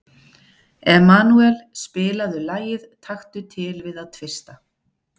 Emanúel, spilaðu lagið „Taktu til við að tvista“.